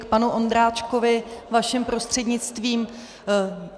K panu Ondráčkovi vaším prostřednictvím.